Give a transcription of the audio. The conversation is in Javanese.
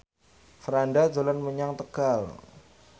Franda dolan menyang Tegal